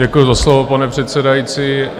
Děkuju za slovo, pane předsedající.